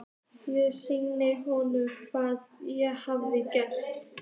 Ég sýndi honum hvað ég hafði gert.